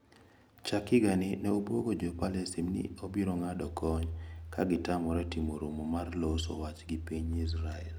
Chak higani ne obwogo Jo Palestin ni obirong`ado kony ka gitamre timo romo mar loso wach gi piny Israel.